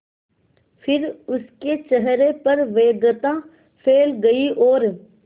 फिर उसके चेहरे पर व्यग्रता फैल गई और